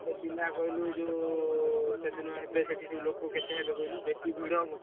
କେତେ ପିଲା କହିଲୁ ଯୋଉ ସେଦିନ ହେବେ ସେଠୀ କେତେ କହିଲୁ ବେଶୀ ଭିଡ ହବ?